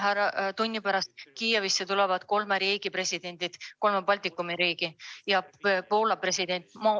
Mõne tunni pärast tulevad Kiievisse kolme Balti riigi presidendid ja Poola president.